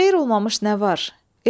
Xeyir olmamış nə var?